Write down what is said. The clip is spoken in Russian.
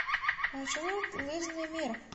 маршрут лыжный мир